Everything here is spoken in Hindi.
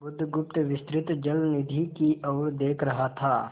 बुधगुप्त विस्तृत जलनिधि की ओर देख रहा था